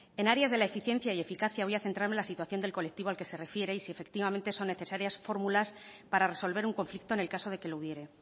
en áreas de la eficiencia y eficacia voy a centrarme en la situación del colectivo al que se refiere y si efectivamente son necesarias fórmulas para resolver un conflicto en el caso de que lo hubiere